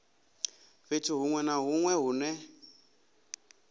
fhethu hunwe na hunwe hune